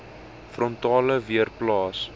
frontale weer plaas